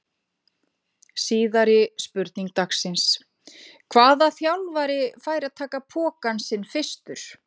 Síðari spurning dagsins: Hvaða þjálfari fær að taka pokann sinn fyrstur?